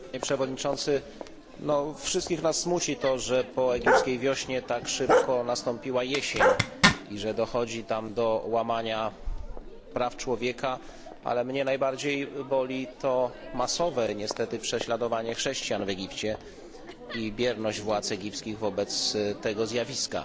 Panie Przewodniczący! Wszystkich nas smuci to, że po egipskiej wiośnie tak szybko nastąpiła jesień i że dochodzi tam do łamania praw człowieka, ale mnie najbardziej boli to masowe, niestety, prześladowanie chrześcijan w Egipcie i bierność władz egipskich wobec tego zjawiska.